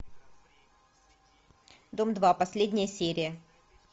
дом два последняя серия